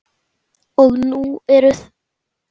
Og nú er Þorgeir allur.